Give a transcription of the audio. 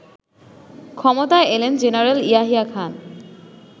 ক্ষমতায় এলেন জেনারেল ইয়াহিয়া খান